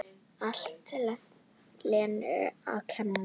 Allt Lenu að kenna!